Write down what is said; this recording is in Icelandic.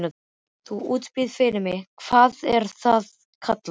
Þú útbýrð fyrir mig- hvað er það kallað?